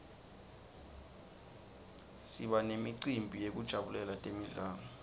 siba nemicimbi yekujabulela temidlalo